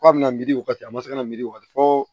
K'a bɛ na miiri o wagati a ma se kana miri wali fɔ